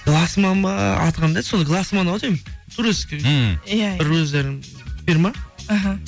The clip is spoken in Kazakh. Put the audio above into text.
гласман ба аты қандай еді сол галсман ау деймін турецкий ммм иә бір өздері фирма іхі